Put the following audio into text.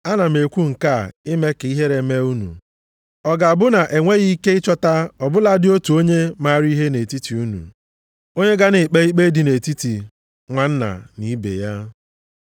Ana m ekwu nke a ime ka ihere mee unu. Ọ ga-abụ na e nweghị ike ịchọta ọ bụladị otu onye maara ihe nʼetiti unu, onye ga na-ekpe ikpe dị nʼetiti nwanna na ibe ya?